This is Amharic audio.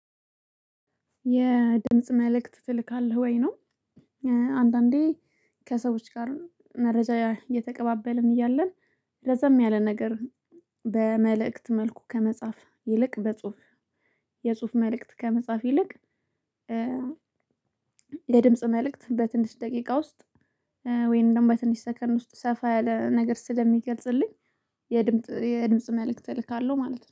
የድምጽ መልእክት ትልካለህ ወይ ነው? አንዳንዴ ከሰዎች ጋር መረጃ እየተቀባበልን እያለን ረዘም ያለ ነገር በመልእክት መልኩ ከመጻፍ ይልቅ፣ የጽሁፍ መልእክት ከመጻፍ ይልቅ የድምጽ መልእክት በትንሽ ደቂቃ ውስጥ ወይም ደግሞ በትንሽ ሰከን ውስጥ ሰፋ ያለ ነገር ስለሚገልጽልኝ። የድምጽ መልእክት እልካለሁ ማለት ነው